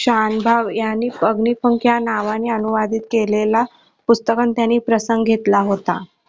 शानभाऊ यांनी अग्निपंख या नावाने अनुवादित केलेला पुस्तकातून त्यांनी प्रसंग घेतला होता.